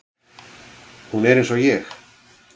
Hún er eins og ég.